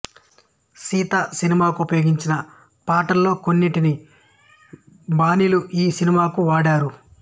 సీత సినిమాకు ఉపయోగించిన పాటల్లో కొన్నిటి బాణీలు ఈ సినిమాకు వాడారు